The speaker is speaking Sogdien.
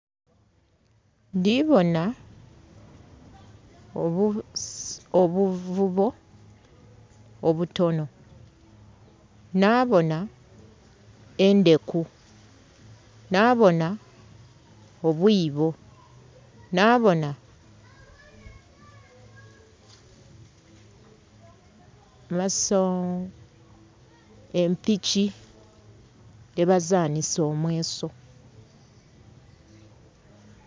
Ndhibonha obuvubo obutonho, nhabonha endheku, nhabonha obwiibo, nhabonha empiki dhebazanhisa omweso.